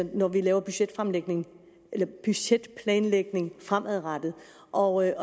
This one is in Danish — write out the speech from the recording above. når vi laver budgetplanlægning budgetplanlægning fremadrettet og jeg